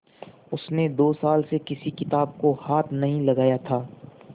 उसने दो साल से किसी किताब को हाथ नहीं लगाया था